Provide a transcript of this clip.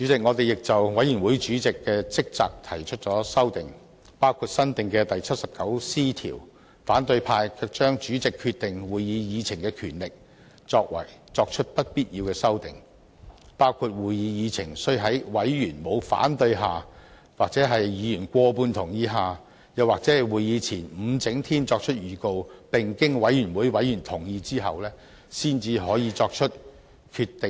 我們亦就委員會主席的職責提出修訂，包括新訂第 79C 條，可是反對派卻對主席決定會議議程的權力作出不必要的修訂，包括會議議程須在委員沒有反對下或在委員過半數同意下，又或在會議前5整天作出預告，並經委員會委員同意後，才能作出決定。